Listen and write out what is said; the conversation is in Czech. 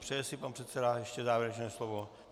Přeje si pan předseda ještě závěrečné slovo?